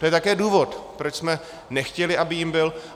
To je také důvod, proč jsme nechtěli, aby jím byl.